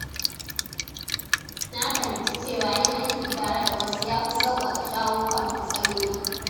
Na fahimci cewa yin aiki tare da wasu ya fi sauƙaƙa shawo kan matsaloli.